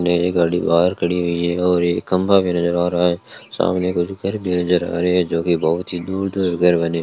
एक गाड़ी बाहर खड़ी हुई है और एक खम्बा नजर आ रहा है सामने कुछ घर भी नजर आ रहे जो की बहुत ही दूर दूर घर बने --